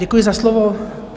Děkuji za slovo.